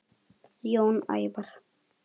Jón Ævar.